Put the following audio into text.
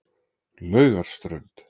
Laugarströnd